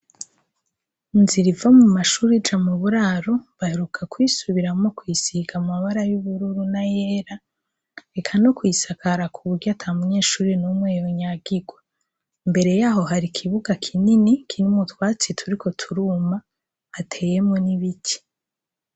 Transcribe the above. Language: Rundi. Inzira iva mumashure ija muburaro ,baheruka kuyisubiramwo kuyisiga amabara y'ubururu n'ayera, eka no kuyisakara kuburyo atamunyeshure n'umwe yonyagirwa, imbere yaho hari ikibuga kinini, kirimwo utwatsi turiko turuma, hateyemwo n'ibiti.